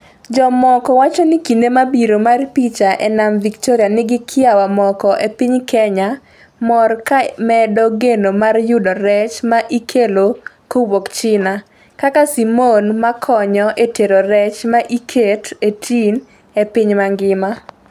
Jomoko wacho ni kinde mabiro mar picha e nam Victoria nigi kiawa Moko e piny Kenya mor ka medo geno mar yudo rech ma ikelo kowuok China, kaka Simon ma konyo e tero rech ma iket e tin e piny mangima.